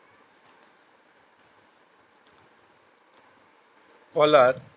তলার